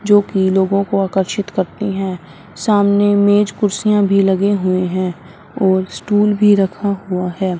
जोकि लोगों को आकर्षित करती है सामने मेज कुर्सियां भी लगे हुए है और स्टूल भी रखा हुआ है।